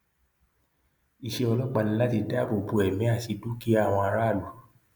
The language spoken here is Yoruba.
iṣẹ ọlọpàá ni láti dáàbò bo ẹmí àti dúkìá àwọn aráàlú